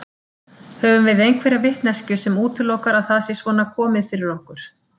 Höfum við einhverja vitneskju sem útilokar að það sé svona komið fyrir okkur?